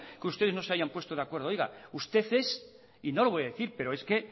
que ustedes no se hayan puesto de acuerdo oiga usted es y no lo voy a decir pero es que